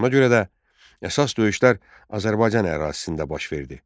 Ona görə də əsas döyüşlər Azərbaycan ərazisində baş verdi.